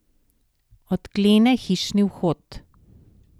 Odklene hišni vhod.